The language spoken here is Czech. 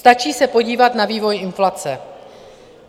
Stačí se podívat na vývoj inflace.